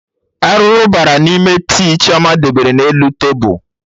Arụrụ bara n'ime tii Chioma debere na elu tebul